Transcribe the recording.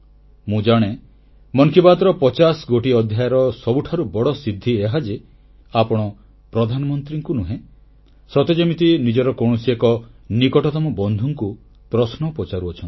ମୁଁ ଜାଣେ ମନ କି ବାତ୍ର 50 ଗୋଟି ଅଧ୍ୟାୟର ସବୁଠାରୁ ବଡ଼ ସିଦ୍ଧି ଏହା ଯେ ଆପଣ ପ୍ରଧାନମନ୍ତ୍ରୀଙ୍କୁ ନୁହେଁ ସତେଯେମିତି ନିଜର କୌଣସି ଏକ ନିକଟତମ ବନ୍ଧୁଙ୍କୁ ପ୍ରଶ୍ନ ପଚାରୁଛନ୍ତି